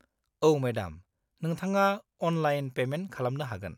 -औ, मेडाम, नोंथाङा online payment खालामनो हागोन।